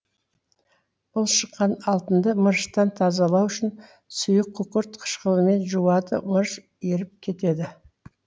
бұл шыққан алтынды мырыштан тазалау үшін сұйық күкірт қышкылымен жуады мырыш еріп кетеді